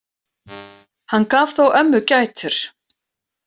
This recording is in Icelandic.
Hann gaf þó ömmu gætur.